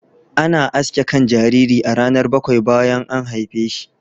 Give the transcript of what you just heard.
Ana aske kan jariri a ranar bakwai bayan an haife shi.